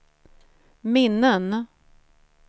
minnen